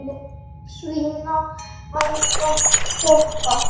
Svína eða toppa?